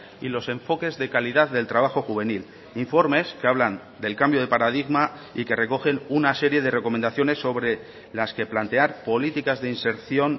y los enfoques de calidad del trabajo juvenil informes que hablan del cambio de paradigma y que recogen una serie de recomendaciones sobre las que plantear políticas de inserción